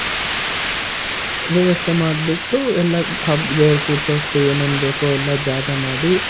ವ್ಯವಸ್ಥೆ ಮಾಡ್ಬುಟ್ಟು ಎಲ್ಲ ಹಬ್ ದೇವರು ಕೂರ್ಸುವಷ್ಟು ಏನೇನ್ ಬೇಕು ಎಲ್ಲ ಜಾಗ ಮಾಡಿ,